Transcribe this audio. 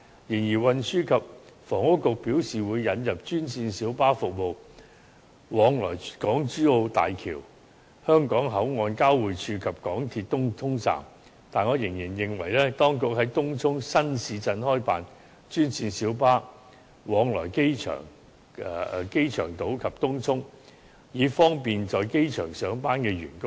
雖然運輸及房屋局表示會引入專線小巴服務往來港珠澳大橋香港口岸交匯處及港鐵東涌站，但我仍然希望當局在東涌新市鎮開辦專線小巴往來機場島及東涌，以方便在機場上班的員工。